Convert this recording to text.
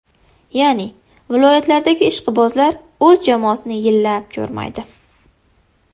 Ya’ni, viloyatlardagi ishqibozlar o‘z jamoasini yillab ko‘rmaydi.